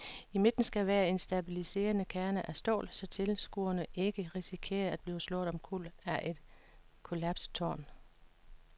I midten skal være en stabiliserende kerne af stål, så tilskuere ikke risikerer at blive slået omkuld af et kollapset tårn.